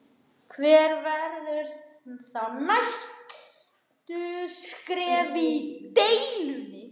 Hver verða þá næstu skref í deilunni?